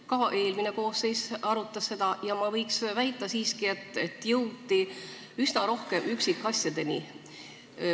Ka eelmine koosseis arutas seda ja ma väidan siiski, et jõuti üsna rohkete üksikasjadeni.